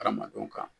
Hadamadenw ka